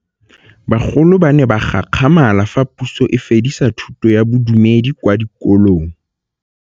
Bagolo ba ne ba gakgamala fa Pusô e fedisa thutô ya Bodumedi kwa dikolong.